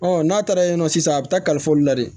n'a taara yen nɔ sisan a bɛ taa kalifa olu la dɛ